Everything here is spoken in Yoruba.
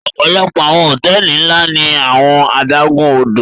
Ọpọlọpọ awọn hotẹẹli nla ni awọn adagun-odo